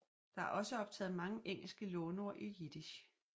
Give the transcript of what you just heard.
Der er også optaget mange engelske låneord i jiddisch